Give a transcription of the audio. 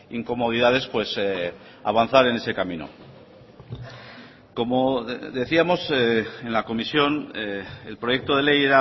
incomodidades pues avanzar en ese camino como decíamos en la comisión el proyecto de ley